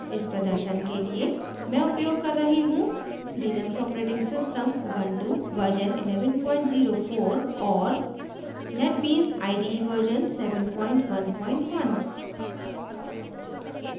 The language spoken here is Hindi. इस प्रदर्शन के लिए मैं उपयोग कर रही हूँ लिनक्स operating system ऊबुंटू 1104 और netbeans ide 711